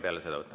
Palun!